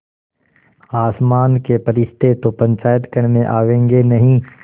आसमान के फरिश्ते तो पंचायत करने आवेंगे नहीं